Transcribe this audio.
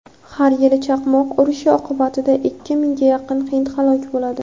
har yili chaqmoq urishi oqibatida ikki mingga yaqin hind halok bo‘ladi.